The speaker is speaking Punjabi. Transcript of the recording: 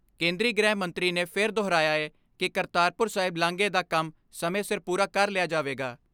ਕੇਂਦਰੀ ਗ੍ਰਹਿ ਮੰਤਰੀ ਮੰਤਰੀ ਨੇ ਫਿਰ ਦੁਹਰਾਇਆ ਏ ਕਿ ਕਰਤਾਰਪੁਰ ਸਾਹਿਬ ਲਾਂਘੇ ਦਾ ਕੰਮ ਸਮੇਂ ਸਿਰ ਪੂਰਾ ਕਰ ਲਿਆ ਜਾਵੇਗਾ।